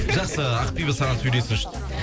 жақсы ақбибі саған сөйлесіңші дейді